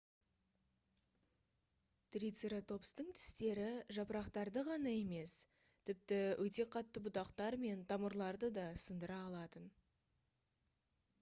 трицератопстың тістері жапырақтарды ғана емес тіпті өте қатты бұтақтар мен тамырларды да сындыра алатын